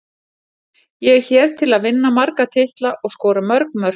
Ég er hér til að vinna marga titla og skora mörg mörk.